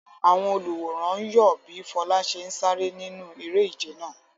Àwọn olùwòran ń yọ̀ bí Fola ṣe ń sáré nínú eré-ìje náà.